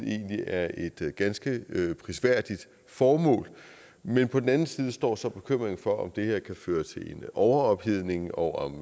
egentlig er et ganske prisværdigt formål men på den anden side står så bekymringen for om det her kan føre til en overophedning og om